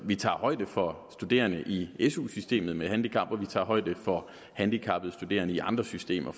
vi tager højde for studerende i i su systemet med handicap og vi tager højde for handicappede studerende i andre systemer